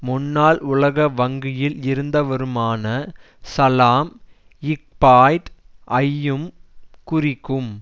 முன்னாள் உலக வங்கியில் இருந்தவருமான சலாம் ஃபயாட் ஐயும் குறிக்கும்